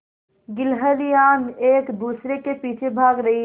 गिल्हरियान एक दूसरे के पीछे भाग रहीं है